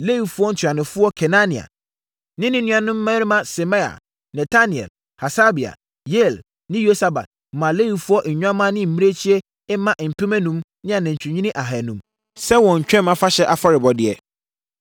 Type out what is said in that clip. Lewifoɔ ntuanofoɔ Kenania ne ne nuanom mmarima Semaia, Netanel, Hasabia, Yeiel ne Yosabad maa Lewifoɔ nnwammaa ne mmirekyie mma mpem enum ne anantwinini ahanum sɛ wɔn Twam Afahyɛ afɔrebɔdeɛ.